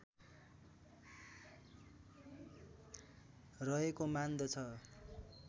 रहेको मान्दछ